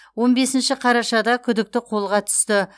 он бесінші қарашада күдікті қолға түсті